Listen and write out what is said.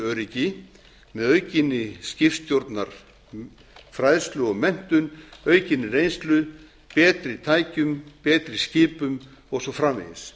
öryggi með aukinni skipstjórnarfræðslu og menntun aukinni reynslu betri tækjum betri skipum og svo framvegis